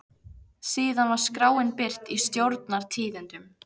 Síðan var skráin birt í Stjórnar- tíðindum.